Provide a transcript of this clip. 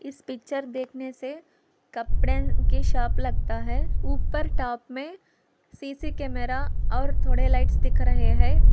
इस पिक्चर देखने से कपड़े के शॉप लगता है ऊपर टॉप में सी_सी कैमरा और थोड़े लाइट्स दिख रहे हैं।